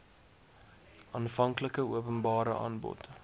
aanvanklike openbare aanbod